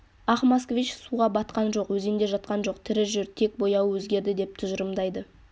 ақ москвич суға батқан жоқ өзенде жатқан жоқ тірі жүр тек бояуы өзгерді деп тұжырымдайды